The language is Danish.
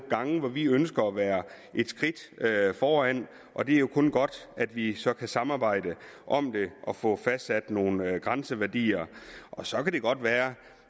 gange hvor vi ønsker at være et skridt foran og det er jo kun godt at vi så kan samarbejde om det og få fastsat nogle grænseværdier så kan det godt være